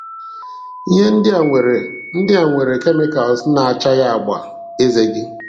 Ihe ndị a nwere ndị a nwere Chemicals na-achagha àgbà eze gị.